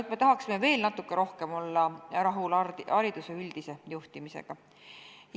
Aga me tahaksime veel natuke rohkem olla rahul hariduse üldise juhtimisega.